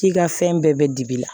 K'i ka fɛn bɛɛ bɛ digi la